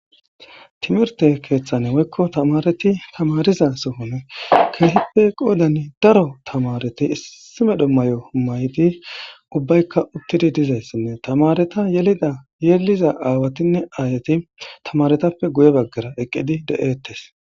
timirte keeththane woykko tamareti tamariza sohone keetippe qoodani daro tamareti issi medho may7o maydi ubbaykka uttidi dizayssinne tamareta yelida yeliza aawatinne ayati tamaretappe guye baggara eqqidi de7eettes